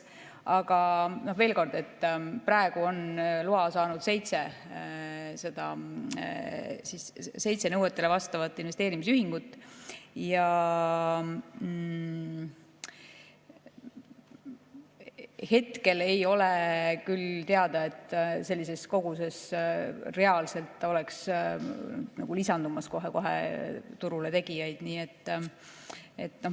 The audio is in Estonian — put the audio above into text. Aga veel kord: praegu on loa saanud seitse nõuetele vastavat investeerimisühingut ja hetkel ei ole küll teada, et sellises koguses oleks reaalselt kohe turule tegijaid lisandumas.